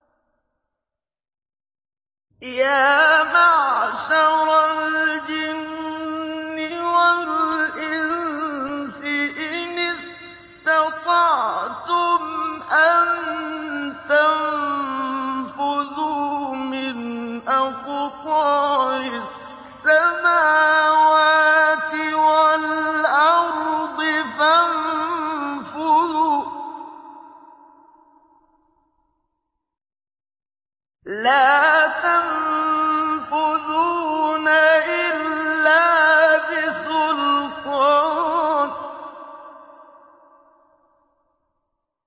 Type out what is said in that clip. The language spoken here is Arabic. يَا مَعْشَرَ الْجِنِّ وَالْإِنسِ إِنِ اسْتَطَعْتُمْ أَن تَنفُذُوا مِنْ أَقْطَارِ السَّمَاوَاتِ وَالْأَرْضِ فَانفُذُوا ۚ لَا تَنفُذُونَ إِلَّا بِسُلْطَانٍ